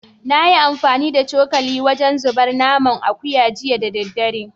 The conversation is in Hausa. Na yi amfani da cokali wajen zabar naman akuya jiya da daddare